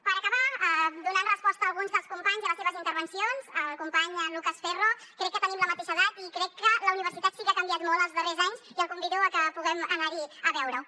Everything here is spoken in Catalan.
per acabar donant resposta a alguns dels companys i a les seves intervencions al company lucas ferro crec que tenim la mateixa edat i crec que la universitat sí que ha canviat molt els darrers anys i el convido a que puguem anar hi a veure ho